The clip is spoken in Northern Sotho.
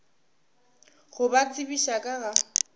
go ba tsebiša ka ga